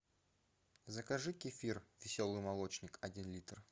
закажи кефир веселый молочник один литр